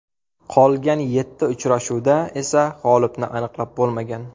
Qolgan yetti uchrashuvda esa g‘olibni aniqlab bo‘lmagan.